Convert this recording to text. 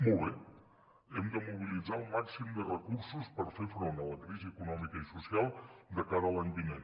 molt bé hem de mobilitzar el màxim de recursos per fer front a la crisi econòmica i social de cara a l’any vinent